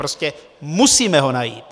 Prostě musíme ho najít!